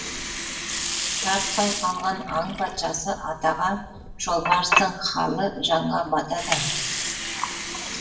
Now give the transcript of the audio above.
тартпай қалған аң патшасы атаға жолбарыстың халі жанға батады ә